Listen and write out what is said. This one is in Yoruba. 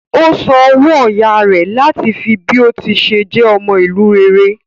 Ó san owó ọyá rẹ̀ láti fi bí ó tí ṣe jẹ́ ọmọ ìlú rere.